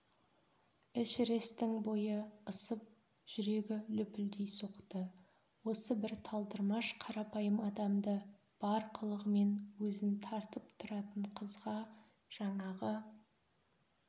эшерестің бойы ысып жүрегі лүпілдей соқты осы бір талдырмаш қарапайым адамды бар қылығымен өзін тартып тұратын қызға жаңағы